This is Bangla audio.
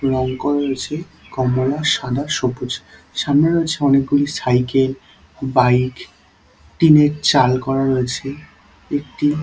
রং করা রয়েছে কমলা সাদা সবুজ সামনে রয়েছে অনেক গুলি সাইকেল বাইক টিনের চাল করা রয়েছে একটি--